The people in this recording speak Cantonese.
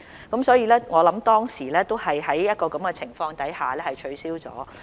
我認為當時的考試都是在這種情況下取消的。